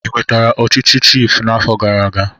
Ị nwetara echichi chiịfụ n'afọ gara aga?